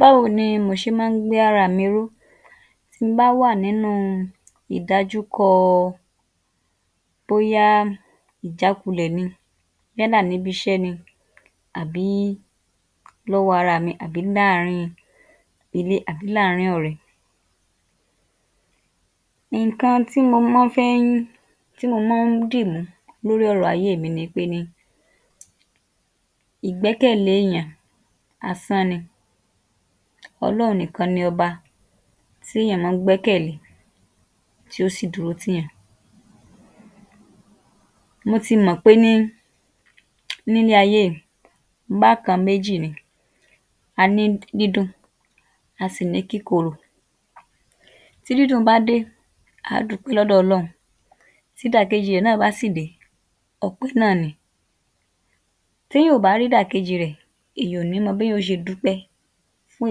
bá wo ni mò ṣe má ń gbé ára à mi ró tin bá wà nínú ìdajúkọọ bóyá ìjákulẹ̀ ni yánà n'íbiṣẹ́ ni àbí l'ọ́wọ́ ara à mi àbí náàárin ilé àbí láàárín-in ọ̀rẹ́, ìnkan tí mo mọ́ ń fẹ́ ń tí mò mọ́ ń dìmú l'órí ọ̀rọ ayé è mi ni pé ní ìgbẹ́kẹ̀lé èyàn asán ni ọlọ́hun nìkan ni ọba tí èyán má ń gbẹ́kẹ̀ lé tí ó sì dúró t'ìyàn, mo ti mọ̀ pé ní n'ílé ayé yìí bákan méjì ni a ní dídùn,a sì ní kíkorò tí dídùn bá dé a á dùúpẹ́ l'ọ́dọ̀ Ọlọ́hun tídàkejì i ẹ̀ náà bá sì ̀ dé ọpẹ́ náà ni. T'éyàn ò bá rídàkejì í rẹ̀ èyàn ò ní mọ b'éyàn ó ṣe dúpẹ́ fún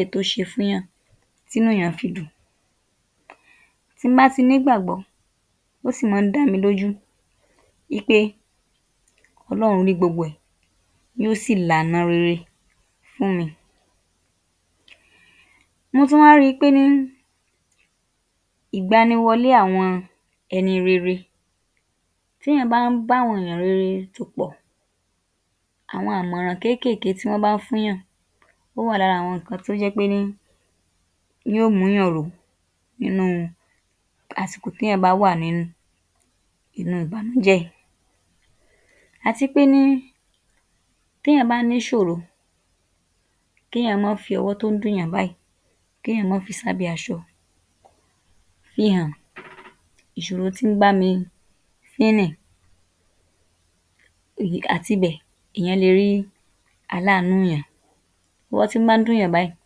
èyí tó ṣe fúnyàn tínú èyán fi dùn. Ti n bá ti n'ígbà gbọ́ ó sì má ń dá mi l'ójú wípé Ọlọ́run rí gbogbo ẹ̀ yóó sì l'àna rere fún mi. Mo tún wá ri pé ní ìgbàni wọlé àwọn ẹni rere t'éyàn bá ń b'áwọn ènìyàn rere tò pọ̀, àwọn àmọ̀ràn kéékèèké tí wọ́n bá fún'yàn ó wà l'ára àwọn ǹkan tó jẹ́ pé ní ní ó m'úyàn ró nínú u àsìkò t'éyàn bá wà ní inú u bànújẹ́, àti pé ní t'éyàn bá n'íṣòro k'éyàn má fi ọwọ́ tó ń dùn'yàn báyìí k'éyàn má fi s'ábẹ́ aṣọ, fi hàn ìṣòro tí ń bá mi fín nì àtibẹ̀ èyán le rí aláàánú'yàn, b'ọ́wọ́ tí ń bá ń dùn'yàn báyìí,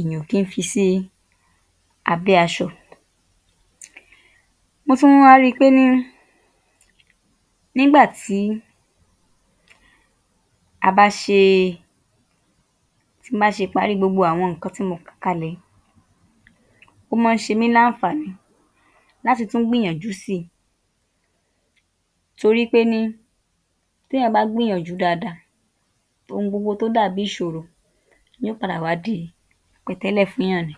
ìyàn ò kí ń fi sí abẹ́ aṣọ. Mo tún wá ri pé ní n'ígbà tí a bá ṣee tin bá ṣe parí gbogbo àwọn ǹkan tí mo kà kalẹ̀ yìí ó má ń ṣe mí l'áǹfààní láti tún gbìyànjú si torí pé ní t'éyàn bá gbìyànjú dada ohun gbogbo tó dàbí ìṣòro ní ó padà wá di pẹ̀tẹ́lẹ̀ fún'yàn ni.